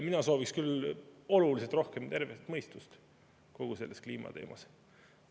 Mina sooviks küll oluliselt rohkem tervet mõistust kogu selles kliimateemas.